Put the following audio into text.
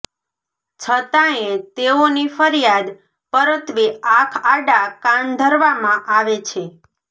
છતાંયે તેઓની ફરીયાદ પરત્વે આંખ આડા કાન ધરવામાં આવે છે